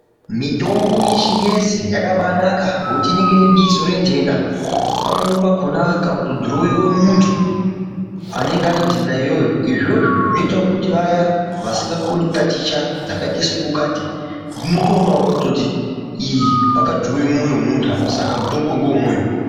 Mitombo yeshingezi yakabaanaka ngekuti inenge ine bizo rentenda pamweni pakhona kana kudhurowiwe muntu anenge ane ntenda iyoyo izvozvo zvinoite kuti vaya vasingakoni kutaticha dzakaite sungukati dzinotoona kutoti iyi pakadhurowiwe mwoyo wemuntu apa sak mutombo uyu ngewe mwoyo.